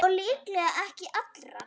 Og líklega ekki allra.